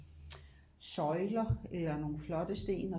Søjler eller nogle flotte sten